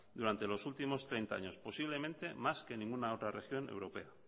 durante los últimos treinta años posiblemente más que ninguna otra región europea